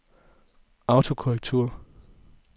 autokorrektur